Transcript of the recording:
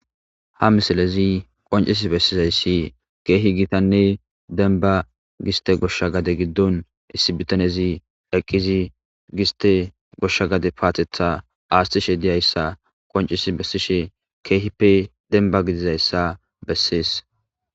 Ha missilezi qonccisi bessizayissi kehi gittane denbba gistte goshsha gade giddon issi bittanezi eqqidi giste goshsha gade pattetha aththishe dizaysa qonccisi bessishe kehippe dembba gidizayissa bessesi.